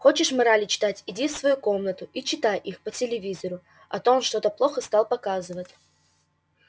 хочешь морали читать иди в свою комнату и читай их по телевизору а то он что-то плохо стал показывать